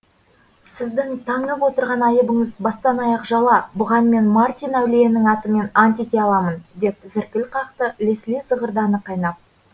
сіздің таңып отырған айыбыңыз бастан аяқ жала бұған мен мартин әулиенің атымен ант ете аламын деп зіркіл қақты лесли зығырданы қайнап